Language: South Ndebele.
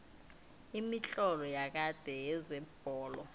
imitlolo yakade yezebholo